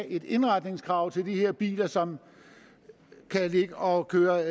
et indretningskrav til de her biler som kan ligge og køre